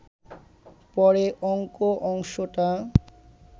পরে অঙ্ক অংশটা